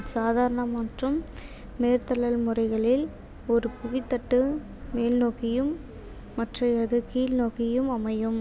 சாதாரண மற்றும் மேற்தள்ளல் முறைகளில் ஒரு புவித்தட்டு மேல் நோக்கியும் மற்றையது கீழ்நோக்கியும் அமையும்